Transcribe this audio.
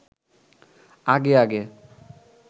আগে আগে